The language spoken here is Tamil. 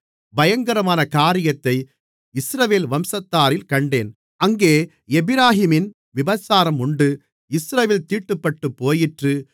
பயங்கரமான காரியத்தை இஸ்ரவேல் வம்சத்தாரில் கண்டேன் அங்கே எப்பிராயீமின் விபசாரம் உண்டு இஸ்ரவேல் தீட்டுப்பட்டுப்போயிற்று